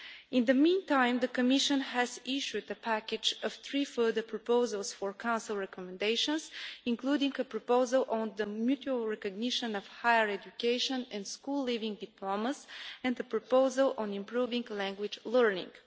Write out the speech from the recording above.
In the meantime, the Commission has issued a package of three further proposals for Council recommendations, including a proposal on the mutual recognition of higher education and school leaving diplomas and the proposal on improving language learning.